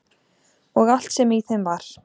Og allt sem í þeim var.